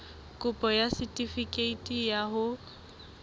kopo ya setefikeiti sa ho